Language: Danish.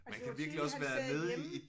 Man kan virkelig også være nede i